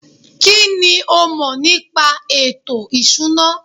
kínní o mọ̀ nípa ètò ìṣúná?